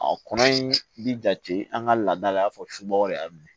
A kɔnɔ in bi jate an ka laada la i n'a fɔ subagaw de y'a minɛ